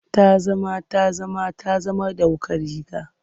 Ta zama ta zama ta zama ɗauko riga.